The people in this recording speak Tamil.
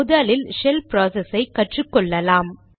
முதலில் ஷெல் ப்ராசஸை கற்றுக்கொள்ளலாம்